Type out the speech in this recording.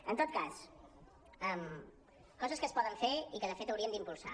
en tot cas coses que es poden fer i que de fet hauríem d’impulsar